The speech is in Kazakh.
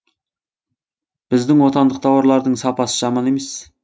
біздің отандық тауарлардың сапасы жаман емес